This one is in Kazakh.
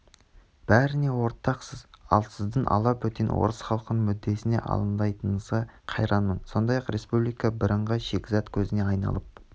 бәріне ортақсыз ал сіздің алабөтен орыс халқының мүддесіне алаңдайтыныңызға қайранмын сондай-ақ республика бірыңғай шикізат көзіне айналып